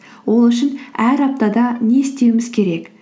ол үшін әр аптада не істеуіміз керек